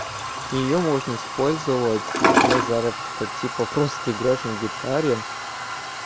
её можно использовать для заработка типа просто играешь на гитаре